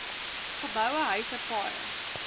geboue huise paaie